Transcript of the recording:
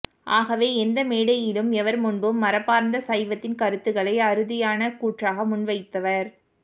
ஆகவே எந்த மேடையிலும் எவர்முன்பும் மரபார்ந்த சைவத்தின் கருத்துக்களை அறுதியான கூற்றாக முன்வைத்தவர்